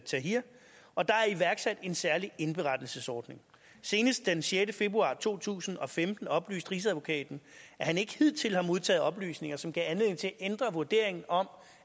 tahrir og der er iværksat en særlig indberettelsesordning senest den sjette februar to tusind og femten oplyste rigsadvokaten at han ikke hidtil havde modtaget oplysninger som gav anledning til at ændre vurderingen om